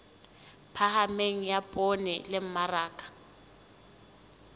phahameng ya poone le mmaraka